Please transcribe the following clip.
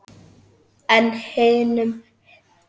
En hinum?